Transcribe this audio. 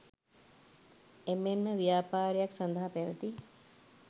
එමෙන්ම ව්‍යාපාරයක් සඳහා පැවති